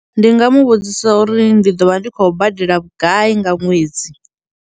Ndi nga mu vhudzisa uri ndi ḓo vha ndi khou badela vhugai nga ṅwedzi.